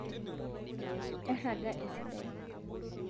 erraga esidai